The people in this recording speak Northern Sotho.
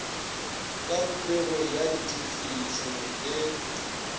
ka popegong ya ditefišo le